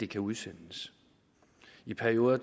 kan udsendes i perioder